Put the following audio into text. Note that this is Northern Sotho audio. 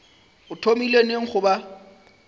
o thomile neng go ba